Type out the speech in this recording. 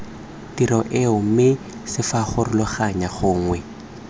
tiro eo mme ccfarologanya gongwe